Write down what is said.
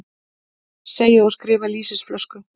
Segi og skrifa lýsisflösku.